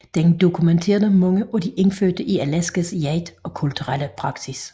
Den dokumenterede mange af de indfødte i Alaskas jagt og kulturelle praksis